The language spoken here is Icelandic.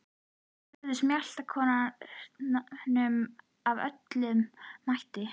Þær vörðust mjaltakonunum af öllum mætti.